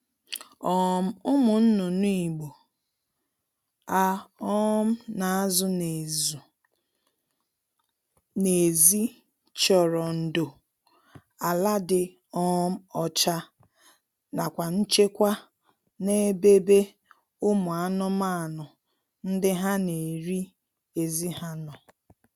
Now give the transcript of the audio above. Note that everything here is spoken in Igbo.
um Ụmụ nnụnụ Igbo a um na-azụ n'ezụ n'ezi chọrọ ndo, ala dị um ọcha nakwa nchekwa n'ebebe umu anụmaanụ ndiha na-eri ezi ha nọ